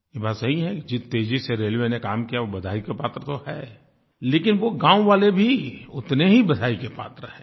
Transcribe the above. ये बात सही है कि जिस तेज़ी से रेलवे ने काम किया वो बधाई की पात्र तो है लेकिन वो गाँव वाले भी उतने ही बधाई के पात्र हैं